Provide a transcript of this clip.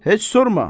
Heç sorma.